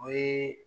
O ye